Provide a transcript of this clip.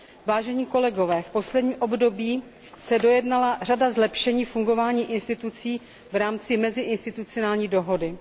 Vážení kolegové, v posledním období se dojednala řada zlepšení fungování orgánů v rámci meziinstitucionální dohody.